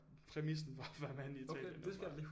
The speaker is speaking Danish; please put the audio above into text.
Præmissen for at være i Italien åbentbart